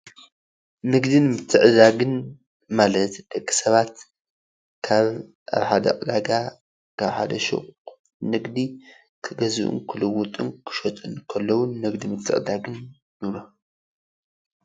ንግድን ምትዕድዳግን ማለት ደቂ ሰባት ካብ ኣብ ሓደ ዕዳጋ ካብ ሓደ ሹቕ ንግዲ ክገዝኡ ክልውጡ ክሸጡን ከለው ንግዲ ምትዕድዳግ ንብሎም።